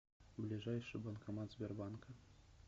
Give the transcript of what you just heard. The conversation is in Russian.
ближайший банкомат сбербанка